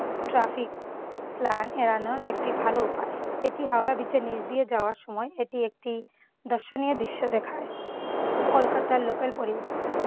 traffic plan এড়ানোর একটি ভালো উপায়। এটি হাওড়া ব্রিজের নিচ দিয়ে যাওয়ার সময় এটি একটি দর্শনীয় দৃশ্য দেখায়। কলকাতার local পরিবহণ।